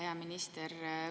Hea minister!